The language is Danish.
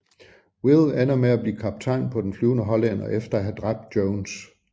Will ender med at blive kaptajn på Den Flyvende Hollænder efter at have dræbt Jones